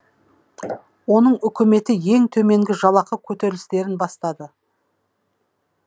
оның үкіметі ең төменгі жалақы көтерілістерін бастады